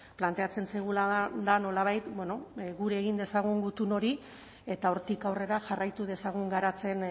planteatzen zaiguna da nolabait bueno gure egin dezagun gutun hori eta hortik aurrera jarraitu dezagun garatzen